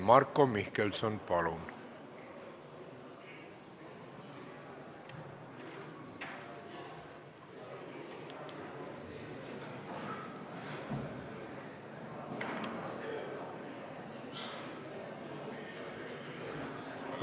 Marko Mihkelson, palun!